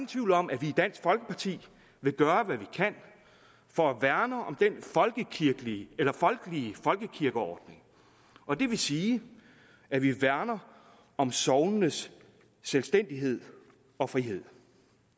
tvivl om at vi i dansk folkeparti vil gøre hvad vi kan for at værne om den folkelige folkekirkeordning og det vil sige at vi værner om sognenes selvstændighed og frihed